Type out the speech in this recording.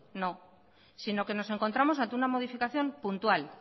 no sino que nos encontramos ante una modificación puntual